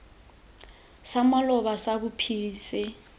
sa maloba sa bophiri se